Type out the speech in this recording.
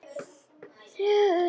Ég er ekki sek.